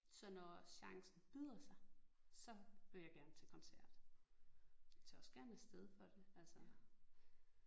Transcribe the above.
Så når chancen byder sig så vil jeg gerne til koncert. Tager også gerne afsted for det altså